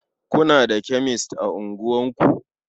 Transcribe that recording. Kuna da kemes a unguwarku?